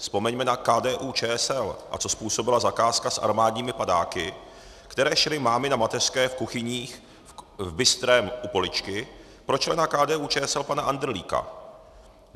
Vzpomeňme na KDU-ČSL, a co způsobila zakázka s armádními padáky, které šily mámy na mateřské v kuchyních v Bystrém u Poličky pro člena KDU-ČSL pana Andrlíka.